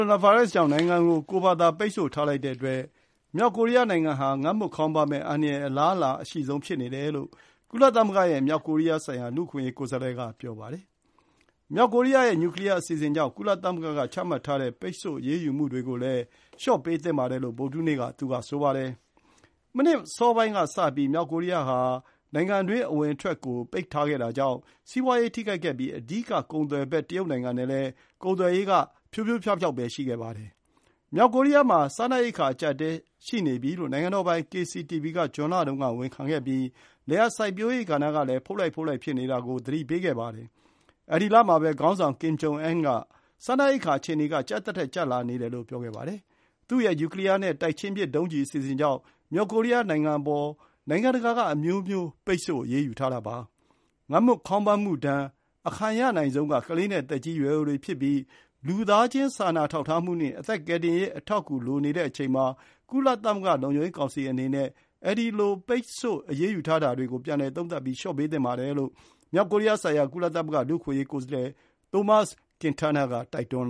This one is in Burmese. ိုနာဗိုင်းရပ်စ်ကြောင့် နိုင်ငံကို ကိုယ့်ဘာသာ ပိတ်ဆို့ထားလိုက်တဲ့အတွက် မြောက်ကိုရီးယားနိုင်ငံဟာ ငတ်မွတ်ခေါင်းပါးမယ့်အန္တရာယ် အလားအလာအရှိဆုံးဖြစ်နေတယ်လို့ ကုလသမဂ္ဂရဲ့မြောက်ကိုရီးယားဆိုင်ရာ လူ့အခွင့်အရေးကိုယ်စားလှယ်က ပြောပါတယ်။ မြောက်ကိုရီးယားရဲ့ နျူကလီယားအစီအစဉ်ကြောင့် ကုလသမဂ္ဂက ချမှတ်ထားတဲ့ ပိတ်ဆို့အရေးယူမှုတွေကိုလည်း လျှော့ပေးသင့်ပါတယ်လို့ ဗုဒ္ဓဟူးနေ့မှာ သူက ဆိုပါတယ်။ မနှစ်အစောပိုင်းကစပြီး မြောက်ကိုရီးယားဟာ နိုင်ငံတွင်း အဝင်အထွက်ကိုပိတ်ခဲ့တာကြောင့် စီးပွါးရေးထိခိုက်ခဲ့ပြီး အဓိကကုန်သွယ်ဘက် တရုတ်နိုင်ငံနဲ့ ကုန်သွယ်ရေးကလည်း ဖြိုးဖြိုးဖြောက်ဖြောက်ပဲ ရှိခဲ့ပါတယ်။ မြောက်ကိုရီးယားမှာ စားနပ်ရိက္ခာ အကျပ်အတည်းရှိနေပြီလို့ နိုင်ငံတော်ပိုင် KCTV က ဇွန်လတုန်းကဝန်ခံခဲ့ပြီး လယ်ယာစိုက်ပျိုးရေးကဏ္ဍ ဖုတ်လှိုက်ဖုတ်လှိုက် ဖြစ်နေတာကို သတိပေးခဲ့ပါတယ်။ အဲဒီလမှာပဲ ခေါင်းဆောင်ကင်ဂျုံအန်းက စားနပ်ရိက္ခာ အခြေအနေက ကျပ်သထက်ကျပ်လာနေတယ်လို့ ပြောခဲ့ပါတယ်။ သူ့ရဲ့နျူကလီယာနဲ့ တိုက်ချင်းပစ်ဒုံးကျည်အစီအစဉ်ကြောင့် မြောက်ကိုရီးယားနိုင်ငံအပေါ် နိုင် ငံတကာက အမျိုးမျိုး ပိတ်ဆို့အရေးယူထားတာပါ။ငတ်မွတ်ခေါင်းပါးမှုဒဏ် အခံရနိုင်ဆုံးက ကလေးနဲ့ သက်ကြီးရွယ်အိုတွေဖြစ်ပြီး လူသားချင်း စာနာထောက်ထားမှုနဲ့ အသက်ကယ်တင်ရေး အထောက်အကူ လိုနေတဲ့အချိန်မှာ ကုလသမဂ္ဂ လုံခြုံရေးကောင်စီအနေနဲ့ အဲဒီလို ပိတ်ဆို့ အရေးယူထားတာတွေကို ပြန်လည် သုံးသပ်ပြီး လျှော့ပေးသင့်ပါတယ်လို့ မြောက်ကိုရီးယား ဆိုင်ရာ ကုလသမဂ္ဂ လူ့အခွင့်အရေး ကိုယ်စားလှယ် Tomas Ojea Quintana က တိုက်တွန်း